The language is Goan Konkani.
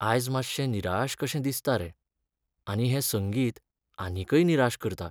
आयज मातशें निराश कशें दिसता रे, आनी हें संगीत आनीकय निराश करता.